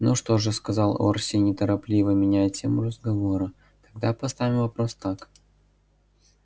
ну что же сказал орси неторопливо меняя тему разговора тогда поставим вопрос так